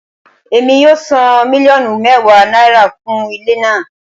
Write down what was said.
Emi yoo san miliọnu mẹwa naira fun ile naa